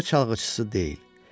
küçə çalğıçısı deyil